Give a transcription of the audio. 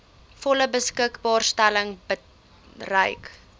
volle beskikbaarstelling bereik